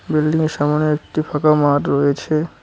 বিল্ডিংয়ের সামোনে একটি ফাঁকা মাঠ রয়েছে।